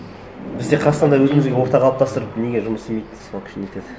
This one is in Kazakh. бізде қазақстанда өзімізге орта қалыптастырып неге жұмыс істемейді сол нетеді